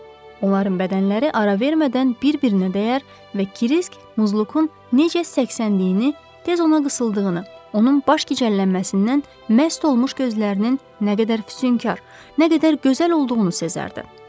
Onların bədənləri ara vermədən bir-birinə dəyər və Kriski Muzlukun necə səksəndiyini, tez ona qısıldığını, onun baş gicəllənməsindən məst olmuş gözlərinin nə qədər füsunkar, nə qədər gözəl olduğunu sezərdi.